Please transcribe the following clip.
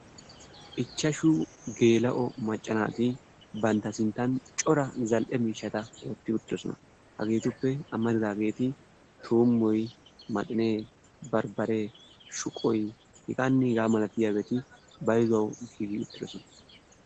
Ichchaashshu geela'o macca naati bantta sinttan cora zal"e miishshata wootti uttidoosona. Hagetuppe amaridaageti tuummoy maaxinee barbbaree shuqqoyhegaanne hegaa malatiyaabati bayzzuwaawu giigi uttidoosona.